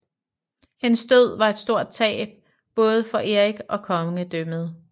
Hendes død var et stort tab både for Erik og kongedømmet